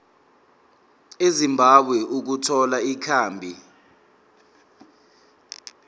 ezimbabwe ukuthola ikhambi